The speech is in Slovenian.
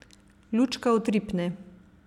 Lučka utripne.